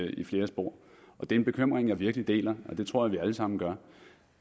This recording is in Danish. i flere spor det er en bekymring jeg virkelig deler og det tror jeg at vi alle sammen gør